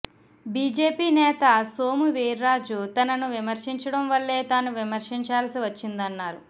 BJP నేత సోము వీర్రాజు తనను విమర్శించడం వల్లే తాను విమర్శించాల్సి వచ్చిందన్నారు